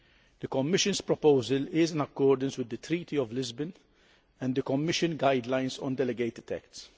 The Commission's proposal is in accordance with the Treaty of Lisbon and the Commission Guidelines on delegated acts.